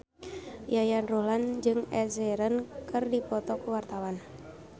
Yayan Ruhlan jeung Ed Sheeran keur dipoto ku wartawan